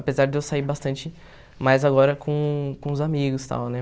Apesar de eu sair bastante mais agora com com os amigos e tal, né?